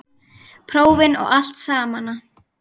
Prófin og allt samana.